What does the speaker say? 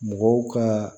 Mɔgɔw ka